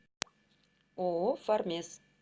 ооо фармес